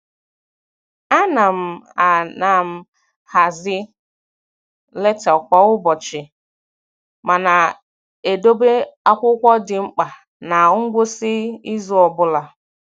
A na m A na m hazie leta kwa ụbọchị ma na-edobe akwụkwọ dị mkpa na ngwụsị izu ọ bụla